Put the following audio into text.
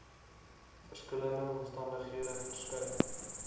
verskillende omstandighede verskeie